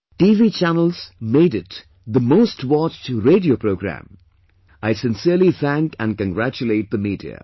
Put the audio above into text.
TV channels made it the most watched radio programme I sincerely thank and congratulate the media